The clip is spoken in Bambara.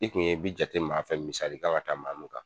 I tun ye bi jate maa fɛ misali kan ŋa ta maa min kan